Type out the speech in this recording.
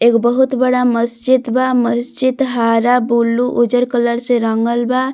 एगो बहुत बड़ा मस्जिद बा मस्जिद हरा बुल्लू उज्जर कलर से रंगल बा।